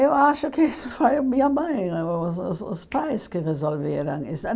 Eu acho que isso foi minha mãe, o o o os pais que resolveram isso.